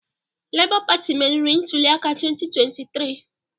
Labour Party meriri ntuli aka 2023